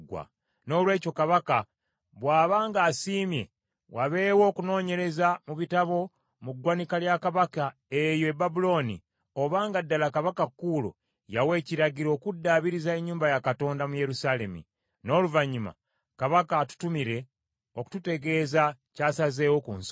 Noolwekyo kabaka bw’aba ng’asiimye, wabeewo okunoonyereza mu bitabo mu ggwanika lya kabaka eyo e Babulooni obanga ddala Kabaka Kuulo yawa ekiragiro okuddaabiriza ennyumba ya Katonda mu Yerusaalemi. N’oluvannyuma kabaka atutumire okututegeeza ky’asazeewo ku nsonga eyo.